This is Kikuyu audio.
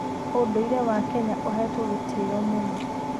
ũndũire wa Kenya ũhetwo gĩtĩo mũno.